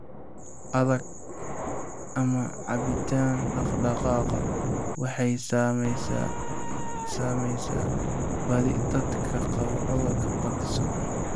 Adag, ama caabbinta dhaqdhaqaaqa, waxay saamaysaa badi dadka qaba cudurka Parkinson.